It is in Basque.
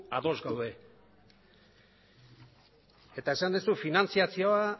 ados gaude eta esan duzu finantziazioa